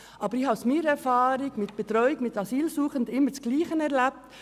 Ich habe zudem im Rahmen meiner Erfahrung mit der Betreuung von Asylsuchenden immer Folgendes erlebt: